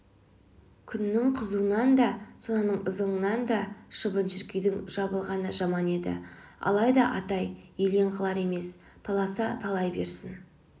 күннің қызуынан да сонаның ызыңынан да шыбын-шіркейдің жабылғаны жаман еді алайда атай елең қылар емес таласа талай берсін